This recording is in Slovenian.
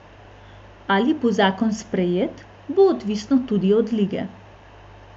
Ali bo zakon sprejet, bo odvisno tudi od Lige.